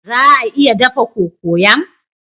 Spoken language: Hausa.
Za a iya dafa cocoyam?